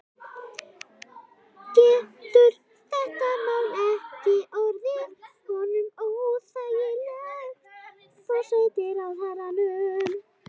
Getur þetta mál ekki orðið honum óþægilegt, forsætisráðherranum?